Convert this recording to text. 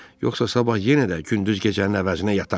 Yoxsa sabah yenə də gündüz gecənin əvəzinə yatarsan.